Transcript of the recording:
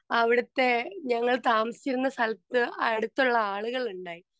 speaker 2 അവിടുത്തെ ഞങ്ങൾ താമസിച്ചിരുന്ന സ്ഥലത്തു അടുത്തുള്ള ആളുകളിണ്ടായി